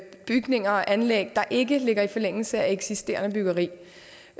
bygninger og anlæg der ikke ligger i forlængelse af eksisterende byggeri